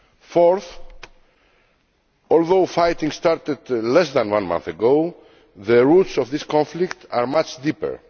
Fourthly, although fighting started less than one month ago, the roots of this conflict are much deeper.